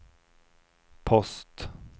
post